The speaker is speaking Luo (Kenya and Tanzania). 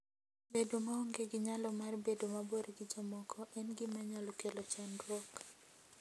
Bedo maonge gi nyalo mar bedo mabor gi jomoko en gima nyalo kelo chandruok.